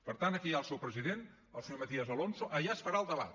per tant aquí hi ha el seu president el senyor matías alonso allà es farà el debat